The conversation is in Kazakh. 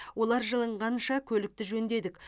олар жылынғанша көлікті жөндедік